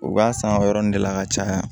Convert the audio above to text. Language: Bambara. U b'a san o yɔrɔnin de la ka caya